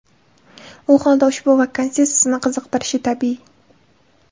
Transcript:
U holda ushbu vakansiya sizni qiziqtirishi tabiiy!